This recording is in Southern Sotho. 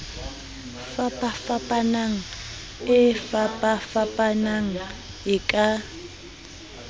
fapafapanang e fapafapanang e ka